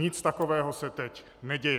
Nic takového se teď neděje.